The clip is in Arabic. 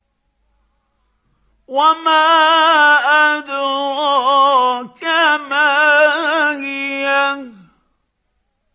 وَمَا أَدْرَاكَ مَا هِيَهْ